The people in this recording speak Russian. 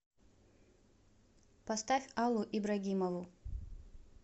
поставь аллу ибрагимову